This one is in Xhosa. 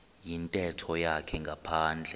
yintetho yakhe ngaphandle